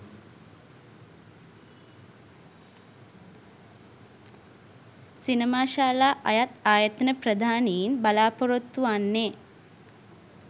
සිනමාශාලා අයත් ආයතන ප්‍රධානීන් බලාපොරොත්තු වන්නේ